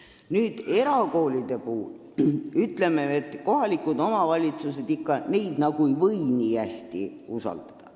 Nüüd me ütleme erakoolide puhul, et kohalikud omavalitsused ei või neid nagu nii hästi usaldada.